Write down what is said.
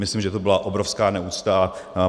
Myslím, že to byla obrovská neúcta.